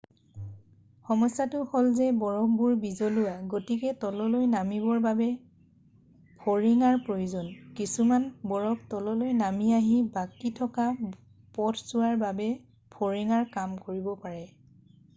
সমস্যটো হ'ল যে বৰফবোৰ বিজলুৱা গতিকে তললৈ নামিবৰ বাবে ফৰিঙাৰ প্ৰয়োজন কিছুমান বৰফ তললৈ নামি আহি বাকী থকা পথছোৱাৰ বাবে ফৰিঙাৰ কাম কৰিব পাৰে